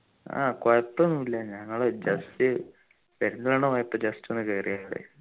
ആഹ് കൊഴപ്പൊന്നു ഇല്ല ഞങ്ങള് just പെരിന്തൽമണ്ണ പോയപ്പോ just ഒന്ന് കേറിയതാ അവിടെ